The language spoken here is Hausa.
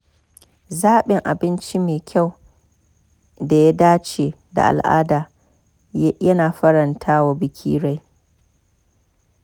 Zabin abinci mai kyau da ya dace da al’ada ya na faranta wa baki rai.